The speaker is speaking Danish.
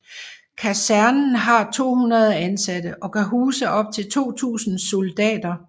Kasernen har 200 ansatte og kan huse op til 2000 soldater